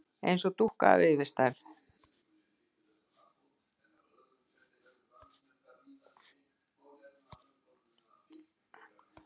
Eins og dúkka af yfirstærð.